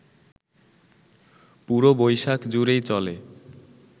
পুরো বৈশাখ জুড়েই চলে